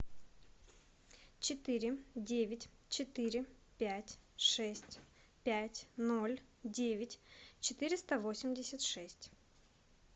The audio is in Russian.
четыре девять четыре пять шесть пять ноль девять четыреста восемьдесят шесть